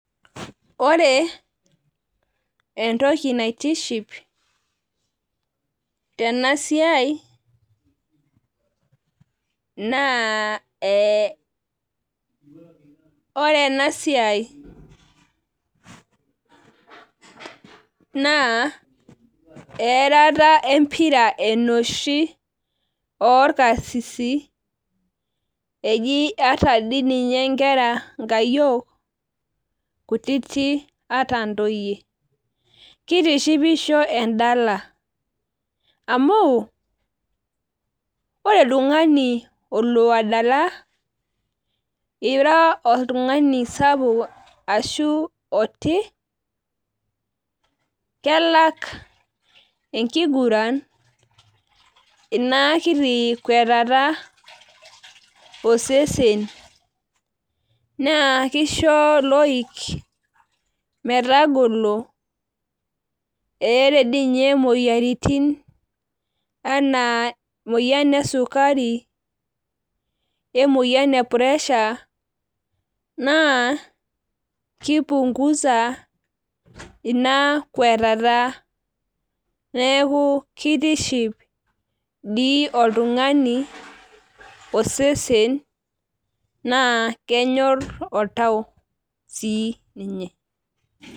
Ore entoki naitishiip tena siai. naa ore ena siai naa etata empira enoshi oorkakisisi.ee ata dii ninye nkera nkayiol kutiti ata ntoyue. amu ore oltungani olo adala. ira oltungani sapuk ashu otii. kelak enkiguran. ina kiti kwetatat osesen. naa kisho iloik metagolo. ore. Dii ninye moyiaritin anaa emoyian esukari .e moyian e pressure naa kipunguza Ina kwetata. neeku kitiship dii oltungani osesen naa kenyor oltau sii ninye.